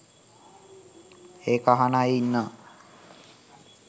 ඒක අහන අය ඉන්නවා